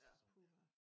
Ja puha